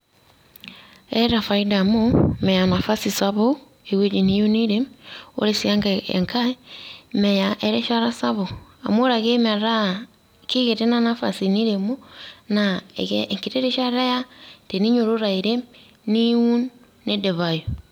Etaa faida amu, meya nafasi sapuk ewueji niyieu niirem. Ore si enkae, meya erishata sapuk, amu ore metaa kekitu ina nafasi niremo, na ekeya enkiti rishata eya teninyototo airem, niun nidipayu.